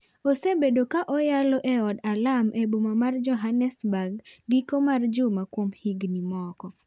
Osebedo kaoyalo ei od alam e boma mar Johannesburg giko mar juma kuom higini moko.